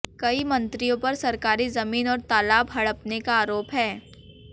कई मंत्रियों पर सरकारी जमीन और तालाब हड़पने का आरोप है